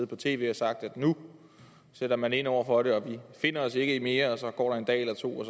på tv og sagt at nu sætter man ind over for det og at vi finder os i mere så går der en dag eller to og